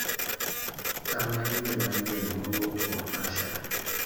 Tang' na imel manyien ma owuok kuom Asha.